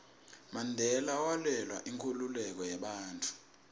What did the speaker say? mandela walwela inkhululeko yebantfu